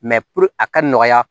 a ka nɔgɔya